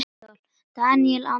Daníel Andri heitir hann.